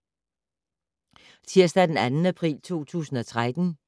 Tirsdag d. 2. april 2013